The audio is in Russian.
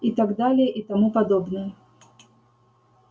и так далее и тому подобное